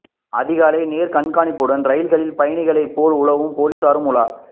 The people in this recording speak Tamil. அதிகாலை நேர கண்காணிப்புடன் ரயில்களில் பயணிகளை போல் உளவு போலீசாரும் உலா